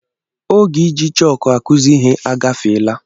Oge iji chọk akuzi ihe agafeela.